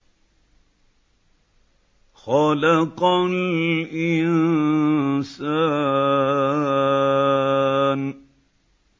خَلَقَ الْإِنسَانَ